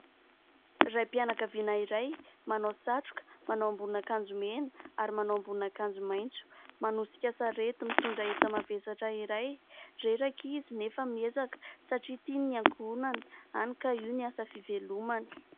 Raim-pianakaviana iray manao satroka, manao ambonin'akanjo mena ary manao ambonin'akanjo maitso, manosika sarety, mitondra enta-mavesatra iray. Reraka izy nefa miezaka satria tiany ny ankohonany. Hany ka io ny asa fivelomany.